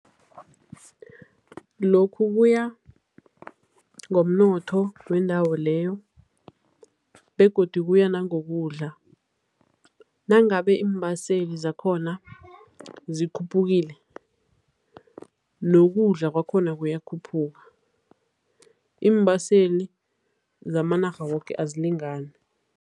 Lokhu kuya ngomnotho wendawo leyo begodu kuya nangokudla. Nangabe iimbaseli zakhona zikhuphukile, nokudla kwakhona kuyakhuphuka. Iimbaseli zamanarha woke azilingani.